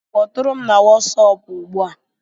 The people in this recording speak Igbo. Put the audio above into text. Kpọtụrụ m na Wọsọpu ugbu a!